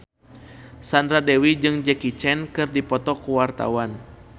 Sandra Dewi jeung Jackie Chan keur dipoto ku wartawan